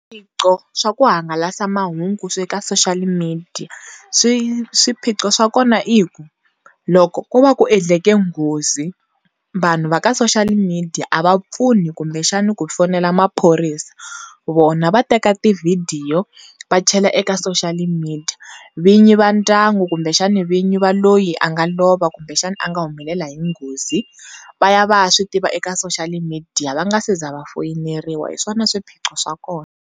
Swiphiqo swa ku hangalasa mahungu swe ka social media swiphiqo swa kona i ku loko ku va ku endleke nghozi vanhu va ka social media a va pfuni kumbe xana ku fonela maphorisa vona va teka t-video va chela eka social media vinyi va ndyangu kumbe xana vinyi va loyi a nga lova kumbe xana a nga humelela hi nghozi va ya va ya swi tiva eka social media va nga si za va foyineriwa hi swona swiphiqo swa kona.